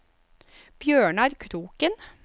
Bjørnar Kroken